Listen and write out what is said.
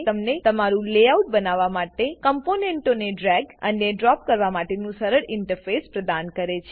તમને તમારું layout layout બનાવવા માટે કોમ્પોનન્ટ્સ કમ્પોનેંટોને ડ્રેગ અને ડ્રોપ કરવા માટેનું સરળ ઈન્ટરફેસ પ્રદાન કરે છે